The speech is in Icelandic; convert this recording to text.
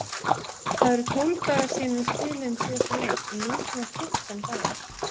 Það eru tólf dagar síðan við spiluðum síðasta leik og nú koma fjórtán dagar.